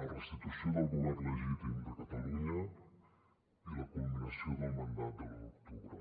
la restitució del govern legítim de catalunya i la culminació del mandat de l’u d’octubre